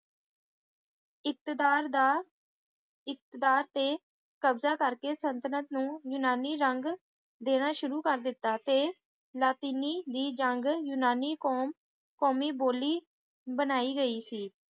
ਇੱਤਦਾਰ ਦਾ ਇੱਤਦਾਰ ਤੇ ਕਬਜ਼ਾ ਕਰਕੇ ਸਲਤਨਤ ਨੂੰ ਯੂਨਾਨੀ ਰੰਗ ਦੇਣਾ ਸ਼ੁਰੂ ਕਰ ਦਿੱਤਾ ਤੇ ਲਾਤੀਨੀ ਦੀ ਜੰਗ ਯੂਨਾਨੀ ਕੌਮ`ਕੌਮੀ ਬੋਲੀ ਬਣਾਈ ਗਈ ਸੀ